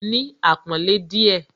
Ní àpọ́nlé díẹ̀